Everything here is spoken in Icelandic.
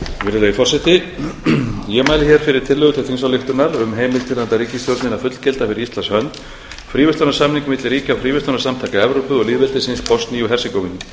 virðulegi forseti ég mæli hér fyrir tillögu til þingsályktunar um heimild til handa ríkisstjórninni að fullgilda fyrir íslands hönd fríverslunarsamning milli ríkja og fríverslunarsamtaka evrópu og lýðveldisins bosníu og hersegóvínu